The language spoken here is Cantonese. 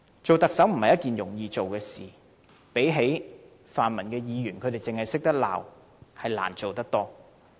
當特首不是一件容易的事情，相比泛民議員只懂得責罵，特首實在難做得多。